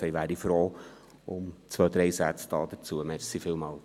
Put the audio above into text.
Ich wäre froh, zwei, drei Sätze dazu hören.